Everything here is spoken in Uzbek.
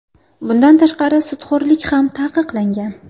Bundan tashqari, sudxo‘rlik ham taqiqlangan.